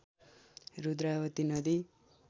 रुद्रावती नदी